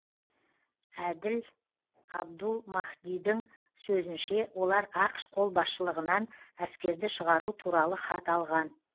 әділ абдул махдидің сөзінше олар ақш қолбасшылығынан әскерді шығару туралы хат алған